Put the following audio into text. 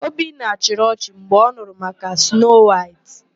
Obinna chịrị ọchị mgbe ọ nụrụ maka Snoo Waịtị.